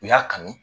U y'a kanu